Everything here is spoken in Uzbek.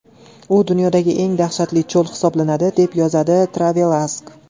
U dunyodagi eng dahshatli cho‘l hisoblanadi, deb yozadi TravelAsk.